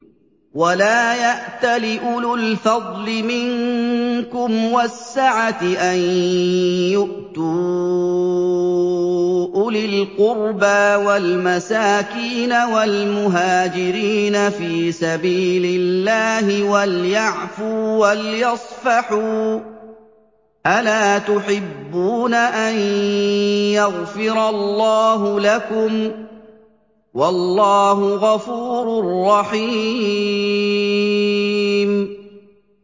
وَلَا يَأْتَلِ أُولُو الْفَضْلِ مِنكُمْ وَالسَّعَةِ أَن يُؤْتُوا أُولِي الْقُرْبَىٰ وَالْمَسَاكِينَ وَالْمُهَاجِرِينَ فِي سَبِيلِ اللَّهِ ۖ وَلْيَعْفُوا وَلْيَصْفَحُوا ۗ أَلَا تُحِبُّونَ أَن يَغْفِرَ اللَّهُ لَكُمْ ۗ وَاللَّهُ غَفُورٌ رَّحِيمٌ